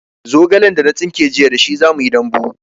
Zogalen da na tsinka jiya da shi zamuyi dambu